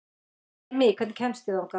Emý, hvernig kemst ég þangað?